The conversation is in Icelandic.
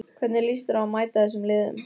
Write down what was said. Hvernig líst þér á að mæta þessum liðum?